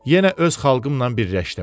Yenə öz xalqımla birləşdim.